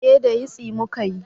Eh da yisti muka yi